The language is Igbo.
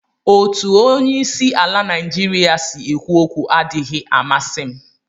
Otu onye isi ala Naijiria si ekwu okwu adịghị amasị m